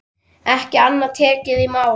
Ekki annað tekið í mál.